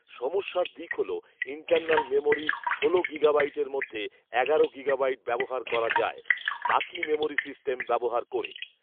সমস্যার দিক হল ইন্টারনাল মেমোরি ষোল গিগাবাইটের মধ্যে এগারো গিগাবাইট ব্যবহার করা যায়, বাকি মেমোরি সিস্টেম ব্যবহার করে